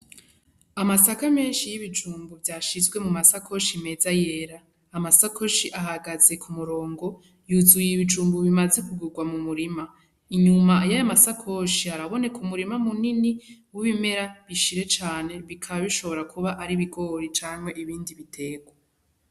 Amasaka menshi y'ibijumbu vyashizwe mu masakoshi meza yera, amasakoshi ahagaze ku murongo yuzuye ibijumbu bimaze kugurwa mu murima, inyuma y'amasakoshi araboneku murima mu nini w'ibimera bishire cane bikaba bishobora kuba ari bigori canke ibindi biterwa.